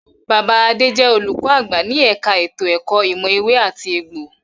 Bàbá Adé jẹ olùkọ àgbà ní ẹka ètò ẹ̀kọ́ ìmọ̀ ewé àti egbò.